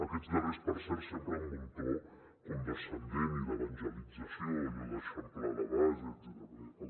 aquests darrers per cert sempre amb un to condescendent i d’evangelització allò d’eixamplar la base etcètera